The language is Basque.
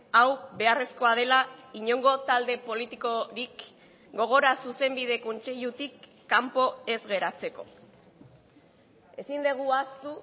hau beharrezkoa dela inongo talde politikorik gogora zuzenbide kontseilutik kanpo ez geratzeko ezin dugu ahaztu